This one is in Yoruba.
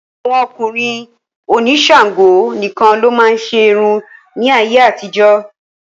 Àwọn ọkùnrin òní Ṣàngó nìkan ló máa ń ṣe irun ní ayé àtijó.